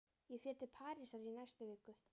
Ég fer til Parísar í næstu viku.